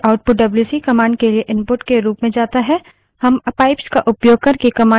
हम pipes का उपयोग करके commands की लम्बी श्रृंखलाएँ भी जोड़ सकते हैं